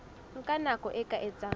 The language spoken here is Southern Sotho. nka nako e ka etsang